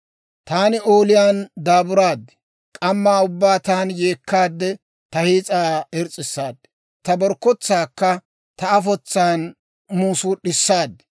Taani ooliyaan daaburaad; K'amma ubbaan taani yeekkaade, ta hiis'aa irs's'issaad; ta borkkotsaakka ta afotsaan muusuud'issaad.